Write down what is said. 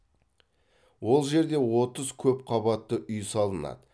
ол жерде отыз көп қабатты үй салынады